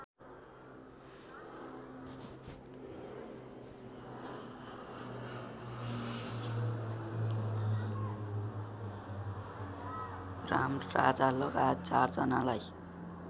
रामराजालगायत ४ जनालाई